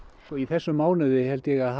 í þessum mánuði held ég að